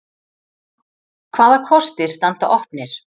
Hvaða kostir standa opnir?